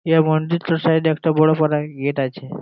এই মন্দিরটার সাইড -এ একটা বড় পানা গেট আছে।